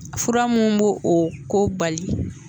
Fura mun bo o ko bali